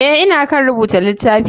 Eh ,ina kan rubuta litafi.